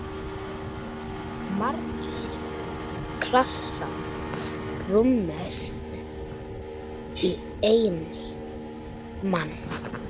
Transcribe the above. Margir klasar rúmast í einni.